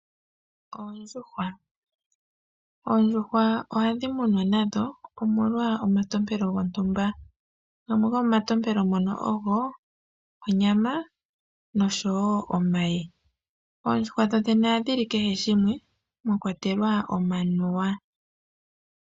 Oondjuhwa Oondjuhwa ohadhi munwa nadho omolwa omatompelo gontumba. Gamwe gomomantompelo mono ogo onyama nosho wo omayi. Oondjuhwa dho dhene ohadhi li kehe shimwe mwa kwatelwa omanuwa.